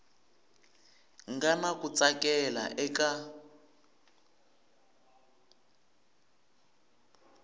nga na ku tsakela eka